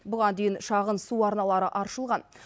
бұған дейін шағын су арналары аршылған